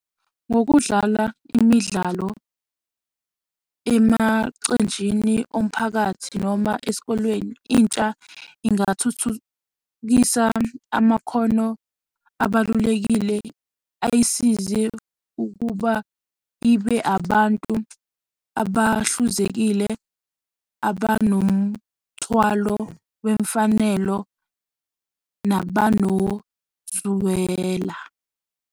Ngokudlala imidlalo emacenjini omphakathi noma esikolweni, intsha ingathuthukisa amakhono abalulekile ayisize ukuba ibe abantu abahluzekile abanomthwalo wemfanelo nabanozwela.